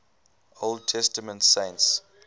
old testament saints